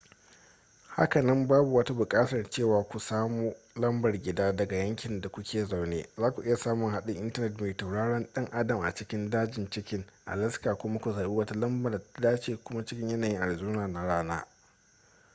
hakanan babu wata buƙatar cewa ku samu lambar gida daga yankin da ku ke zaune za ku iya samun haɗin intanet mai tauraron dan adam a cikin dajin chicken alaska kuma ku zaɓi wata lamba da ta ce kuna cikin yanayin arizona na rana